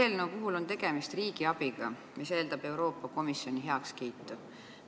Selle eelnõu puhul on tegemist riigiabiga, mis eeldab Euroopa Komisjoni heakskiitu.